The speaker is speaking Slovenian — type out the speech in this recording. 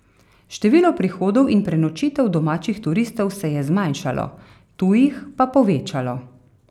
Število prihodov in prenočitev domačih turistov se je zmanjšalo, tujih pa povečalo.